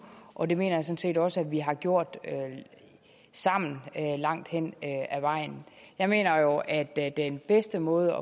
og det mener set også at vi har gjort sammen langt hen ad vejen jeg mener jo at at den bedste måde